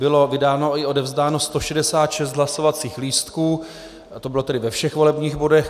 Bylo vydáno i odevzdáno 166 hlasovacích lístků, to bylo tedy ve všech volebních bodech.